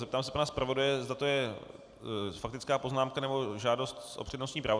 Zeptám se pana zpravodaje, zda to je faktická poznámka, nebo žádost o přednostní právo.